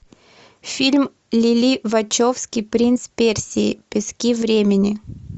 фильм лили вачовски принц персии пески времени